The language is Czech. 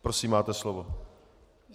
Prosím, máte slovo.